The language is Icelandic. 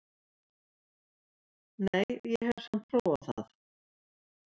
Nei, hef samt alveg prófað það!